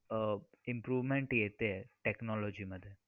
अह improvement येतेय technology मध्ये.